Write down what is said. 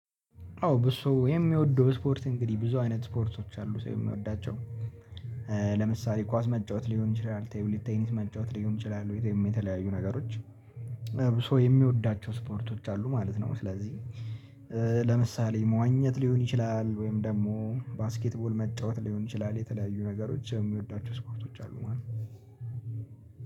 አዎ ብዙ ሰው የሚወደው ስፖርት እንግዲህ ብዙ አይነት ስፖርቶች አሉ ሰው ሚወዳቸው ለምሳሌ ኳስ መጫወት ሊሆን ይችላል፣ ቴብል ቴኒስ መጫወት ሊሆን ይችላል ቤተመም የተለያዩ ነገሮች ብዙ ሰው የሚወዳቸው ስፖርቶች አሉ ማለት ነው ስለዚህ ለምሳሌ መዋኘት ሊሆን ይችላል ወይም ደግሞ ባስኬትቦል መጫወት ሊሆን ይችላል የተለያዩ ነገሮች ሰው ሚወዷቸው ስፖርቶች አሉ ማለት ነው።